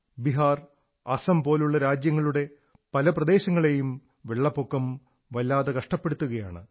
ബിഹാർ അസം പോലുള്ള രാജ്യങ്ങളുടെ പല പ്രദേശങ്ങളെയും വെള്ളപ്പൊക്കം വളരെ കഷ്ടപ്പെടുത്തുകയാണ്